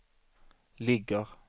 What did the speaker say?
ligger